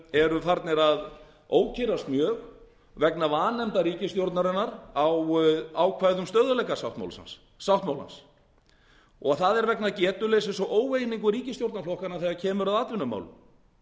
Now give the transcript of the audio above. eru farnir að ókyrrast mjög vegna vanefnda ríkisstjórnarinnar á ákvæðum stöðugleikasáttmálans og það er vegna getuleysis og óeiningar ríkisstjórnarflokkanna þegar kemur að atvinnumálum ákvæðið